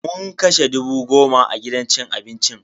Mun kashe dubu goma a gidan cin abincin.